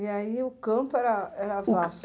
E aí o campo era era vasto?